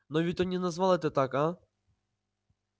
но ведь он не назвал это так а